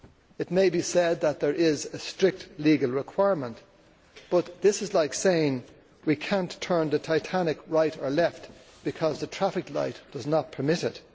It may be said that there is a strict legal requirement, but this is like saying that we cannot turn the Titanic right or left because the traffic light does not permit it.